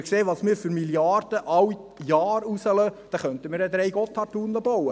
Mit den Milliarden, die wir jedes Jahr rauslassen, könnten wir drei Gotthard-Tunnel bauen.